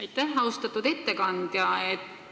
Aitäh, austatud ettekandja!